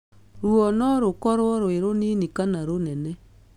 Ruo no rũkorwo rwĩ rũnini kana rũnene.